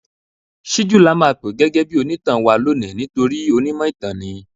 Síjú la máa pè gẹ́gẹ́ bí onítàn wa lónìí nítorí onímọ̀ ìtàn ni.